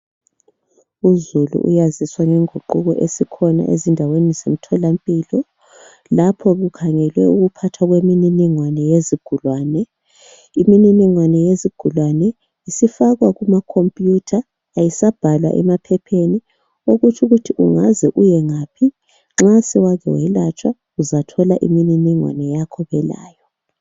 Uzulu uyaziswa ngeguquko esikhona ezindaweni zemtholampilo lapho kukhangelwe ukuphathwa kwemininingwane yezigulane. Imininingwane yezigulane isifakwa kumakhompuyutha ayisabhalwa emaphepheni okutsho ukuthi ungaze uyengaphi uzathola imininingwane yakho belayo.